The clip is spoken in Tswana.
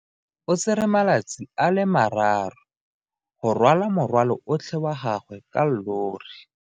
O tsere malatsi a le marraro go rwala morwalo otlhe wa gagwe ka llori.